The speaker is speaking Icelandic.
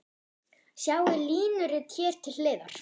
Sjá línurit hér til hliðar.